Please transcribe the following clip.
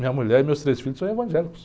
Minha mulher e meus três filhos são evangélicos.